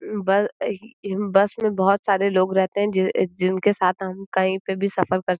बस में बहुत सारे लोग रहते हैं जिनके साथ हम कहीं पर भी सफर कर --